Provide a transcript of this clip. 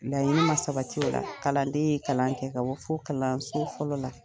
Laɲini man sabati o la kalanden ye kalan kɛ ka bɔ fo kalanso fɔlɔ la.